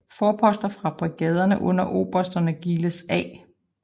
Forposter fra brigaderne under obersterne Giles A